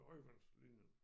Højvandslinjen